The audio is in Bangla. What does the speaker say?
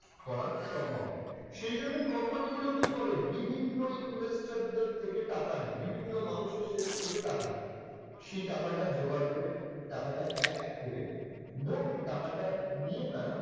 করা সম্ভব না সেজন্য company গুলো কি করে বিভিন্ন investor দের থেকে টাকা নেয়, বিভিন্ন মানুষের থেকে টাকা নেয় সেই টাকাটা জোগাড় করে টাকাটা এক করে মোট টাকাটা নিয়ে তারা,